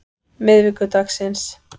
miðvikudagsins